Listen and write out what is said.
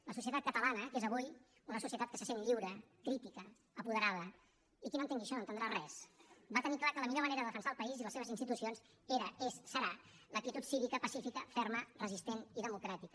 la societat catalana que és avui una societat que se sent lliure crítica apoderada i qui no entengui això no entendrà res va tenir clar que la millor manera de defensar el país i les seves institucions era és serà l’actitud cívica pacífica ferma resistent i democràtica